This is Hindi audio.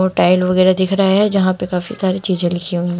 टाइल वगैरा दिख रहा है जहां पे काफी सारी चीजें लिखी हुई--